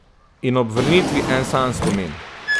In ob vrnitvi en sam spomin.